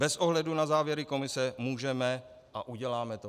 Bez ohledu na závěry komise můžeme a uděláme to.